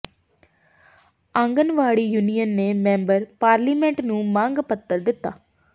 anganwadi union ਨੇ member parliament ਨੂੰ ਮੰਗ ਪੱਤਰ ਦਿੱਤਾ